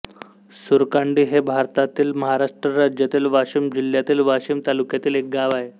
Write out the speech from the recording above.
सुरकांडी हे भारतातील महाराष्ट्र राज्यातील वाशिम जिल्ह्यातील वाशीम तालुक्यातील एक गाव आहे